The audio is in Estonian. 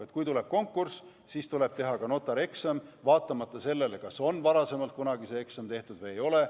Et kui tuleb konkurss, siis tuleb teha ka notarieksam, vaatamata sellele, kas on varasemalt see eksam tehtud või ei ole.